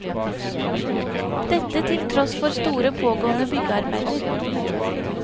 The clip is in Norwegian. Dette til tross for store pågående byggearbeider.